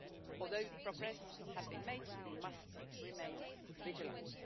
Although progress has been made, we must remain vigilant.